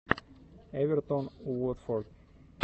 эвертон уотфорд